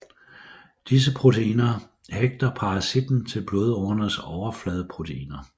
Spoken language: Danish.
Disse proteiner hægter parasitten til blodårenes overfladeproteiner